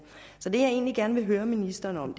så det jeg egentlig gerne vil høre ministeren om